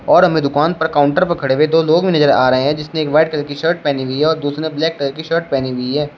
और हमें दुकान पर काउंटर पर खड़े हुए दो लोग नजर भी आ रहे हैं जिसने एक व्हाईट कलर की शर्ट पहनी हुई है और दूसरे ने ब्लैक कलर की शर्ट पहनी हुई है।